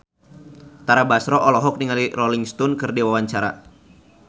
Tara Basro olohok ningali Rolling Stone keur diwawancara